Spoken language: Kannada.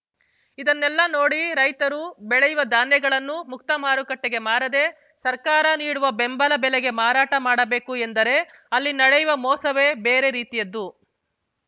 ಇದನ್ನೆಲ್ಲ ನೋಡಿ ರೈತರು ಬೆಳೆಯುವ ಧಾನ್ಯಗಳನ್ನು ಮುಕ್ತ ಮಾರುಕಟ್ಟೆಗೆ ಮಾರದೇ ಸರ್ಕಾರ ನೀಡುವ ಬೆಂಬಲ ಬೆಲೆಗೆ ಮಾರಾಟ ಮಾಡಬೇಕು ಎಂದರೆ ಅಲ್ಲಿ ನಡೆಯುವ ಮೋಸವೇ ಬೇರೆ ರೀತಿಯದ್ದು